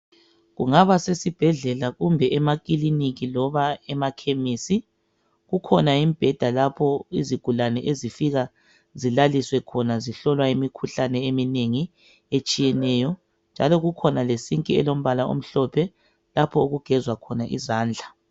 Kungaba sesibhedlela kumbe emakiliniki loba emakhemisi. Kukhona imibheda lapho izigulane ezifika zilaliswe khona zihlolwa imikhuhlane eminengi etshiyeneyo njalo kukhona lesinki elombala omhlophe lapho okugezwa khona izandla.